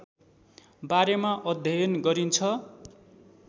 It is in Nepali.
बारेमा अध्ययन गरिन्छ